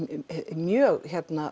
mjög